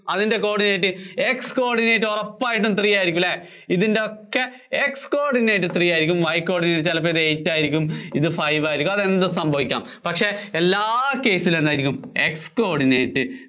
coordinate X coordinate അതിന്‍റെ ഉറപ്പായിട്ടും three ആയിരിയ്ക്കും അല്ലേ? ഇതിന്‍റെയൊക്കെ X coordinate three ആയിരിയ്ക്കും Y coordinate ചിലപ്പോ അത് eight ആയിരിയ്ക്കും ഇത് five ആയിരിയ്ക്കും അത് എന്തും സംഭവിക്കാം. പക്ഷേ എല്ലാ case ലും എന്തായിരിക്കും X coordinate